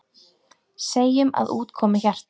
Segjum að út komi hjarta.